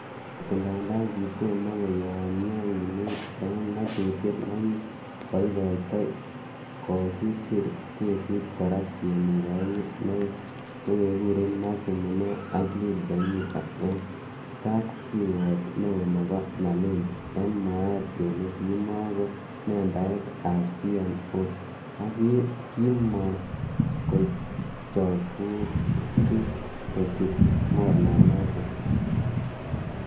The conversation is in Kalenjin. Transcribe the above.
Okot ng'andan kitomo koyomyo winek en ng'atutiet nekikoitoi, Kokisir kesit kora tienik oengun nekekuren Mercy Munee ak Lydia Nyiva en Kapkirwok neo nebo Malindi, en mwaet kele kimon ko membaek ab CMOs ak kimon kochobutin kochut mornanoton.